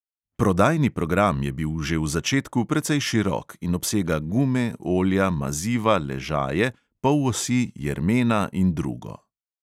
Prodajni program je bil že v začetku precej širok in obsega gume, olja, maziva, ležaje, polosi, jermena in drugo.